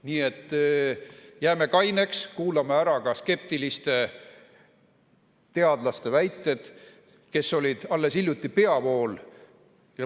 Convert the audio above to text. Nii et jääme kaineks, kuulame ära ka skeptiliste teadlaste väited, kes kuulusid alles hiljuti peavoolu.